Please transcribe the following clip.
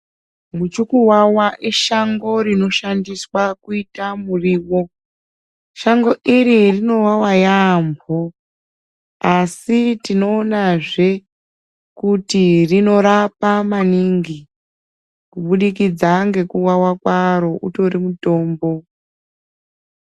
Muchu kukuvawa ishango rino shandiswa kuite murivo shango iri rinovava yaamho. Asi tinoona zve kuti rinorapa maningi kubudikidza ngekuvava kwaro utori mutombo.